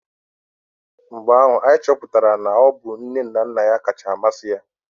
Ụnyahụ anyị chọpụtara na ọ bụ nne na nna ya kacha amasị ya